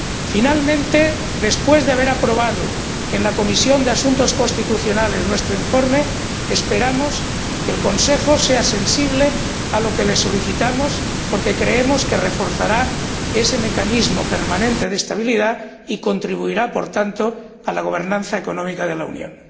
Finalmente, después de haber aprobado en la Comisión de Asuntos Constitucionales nuestro informe, esperamos que el Consejo sea sensible a lo que le solicitamos, porque creemos que reforzará ese mecanismo permanente de estabilidad y contribuirá por tanto a la gobernanza económica de la Unión.